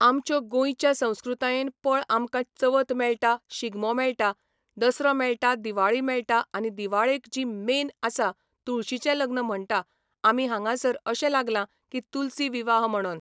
आमच्यो गोंयच्या संस्कृतायेन पळ आमकां चवथ मेळटा शिगमो मेळटा, दसरो मेळटा दिवाळी मेळटा आनी दिवाळेक जी मेन आसा तुळशीचें लग्न म्हणटा आमी हांगासर अशें लागला की तुलसी विवाह म्हणोन